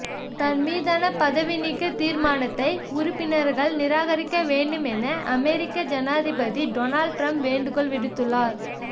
தன் மீதான பதவி நீக்க தீர்மானத்தை உறுப்பினர்கள் நிராகரிக்க வேண்டும் என அமெரிக்கா ஜனாதிபதி டொனால்ட் ட்ரம்ப் வேண்டுக்கோள் விடுத்துள்ளார்